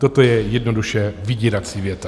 Toto je jednoduše vydírací věta.